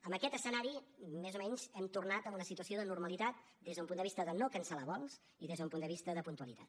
amb aquest escenari més o menys hem tornat a una situació de normalitat des d’un punt de vista de no cancel·lar vols i des d’un punt de vista de puntualitat